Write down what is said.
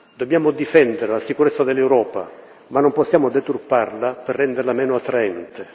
Dobbiamo difendere la sicurezza dell'Europa ma non possiamo deturparla per renderla meno attraente.